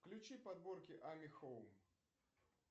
включи подборки ами хоум